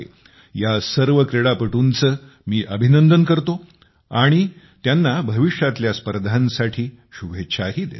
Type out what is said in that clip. या सर्व क्रीडापटूंचे मी अभिनंदन करतो आणि त्यांना भविष्यातल्या स्पर्धांसाठी शुभेच्छाही देतो